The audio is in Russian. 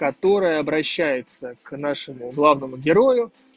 которая обращается к нашему главному герою